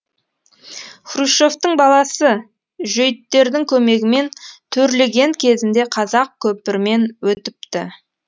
хрущевтің баласы жөйттердің көмегімен төрлеген кезінде қазақ көпірмен өтіпті